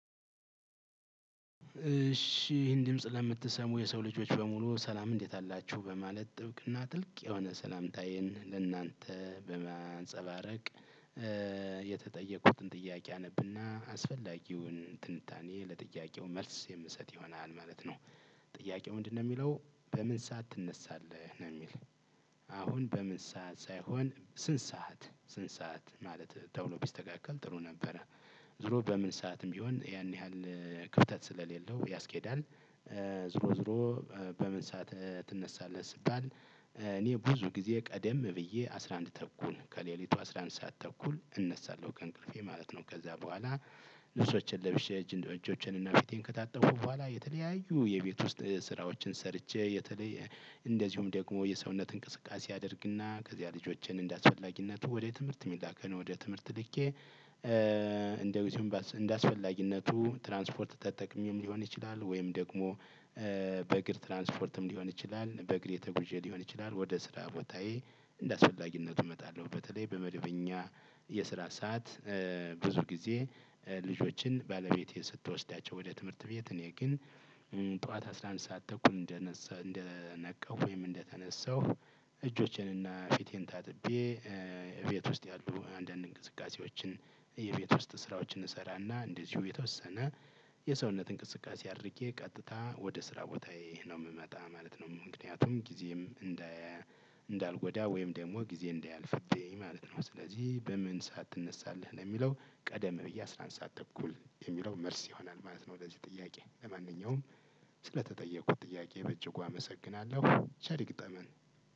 እሺ ይሄን ድምጽ ለምትሰሙ የሰው ልጆች በሙሉ ሰላም እንዴት አላችሁ በማለት ጥብቅና ጥልቅ የሆነ ሰላምታዬን ለእናንተ በማንፀባረቅ የተጠየቁትን ጥያቄ አነብና አስፈላጊውን ትንታኔ ለጥያቄው መልስ የምሰጥ ይሆናል ማለት ነው። ጥያቄው ምንድነው የሚለው? በምን ሰዓት ትነሳለህ ነው የሚል አሁን በምን ሰዓት ሳይሆን ስንት ሰዓት ስንት ሰዓት ማለት ተብሎ ቢስተካከል ጥሩ ነበረ። ዝሮ በምን ሰዓትም ቢሆን ያን ያህል ክፍተት ስለሌለው ያስኬዳል። ዙሮ ዙሮ በምን ሰዓት ትነሳለህ ሲባል እኔ ብዙ ጊዜ ቀደም ብዬ አስራ አንድ ተኩል ከሌሊቱ አስራ አንድ ሰዓት ተኩል እነሳለሁ ከእንቅልፌ ማለት ነው። ከዛ በኋላ ልብሶቸን ለብሼ እጅ እጆቼን እና ፊቴን ከታጠብኩ በኋላ የተለያዩ የቤት ውስጥ ስራዎችን ሰርቼ የተለየ እንደዚሁም ደግሞ የሰውነት እንቅስቃሴ አደርግና ከዚያ ልጆችን እንደአስፈላጊነቱ ወደ ትምህርት የሚላክን ወደ ትምህርት ልኬ። እንደው እንደአስፈላጊነቱ ትራንስፖርት ተጠቅሜም ሊሆን ይችላል ወይም ደግሞ። በእግር ትራንስፖርትም ሊሆን ይችላል በእግሬ ተጉዤ ሊሆን ይችላል ወደ ስራ ቦታዬ እንደአስፈላጊነቱ እመጣለሁ። በተለይ በመደበኛ የስራ ሰዓት ብዙ ጊዜ ልጆችን ባለቤቴ ስትወስዳቸው ወደ ትምህርት ቤት እኔ ግን። ጠዋት አስራ አንድ ሰዓት ተኩል እንደነሳ እንደነካቃሁ ወይም እንደተነሳሁ። እጆቼንና ፊቴን ታጥቤ ቤት ውስጥ ያሉ አንዳንድ እንቅስቃሴዎችን። የቤት ውስጥ ስራዎችን እሰራና እንደዚሁ የተወሰነ የሰውነት እንቅስቃሴ አድርጌ ቀጥታ ወደ ስራ ቦታዬ ነው የምመጣ ማለት ነው። ምክንያቱም ጊዜም እንዳልጎዳ ወይም ደግሞ ጊዜ እንዳያልፍብኝ ማለት ነው። ስለዚህ በምን ሰዓት ትነሳለህ ለሚለው ቀደም ብዬ አስራ አንድ ሰዓት ተኩል የሚለው መልስ ይሆናል ማለት ነው። ለዚህ ጥያቄ ለማንኛውም ስለተጠየኩት ጥያቄ በእጅጉ አመሰግናለሁ። ቸር ይግጠመን።